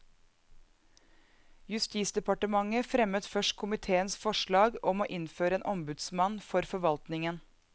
Justisdepartementet fremmet først komiteens forslag om å innføre en ombudsmann for forvaltningen.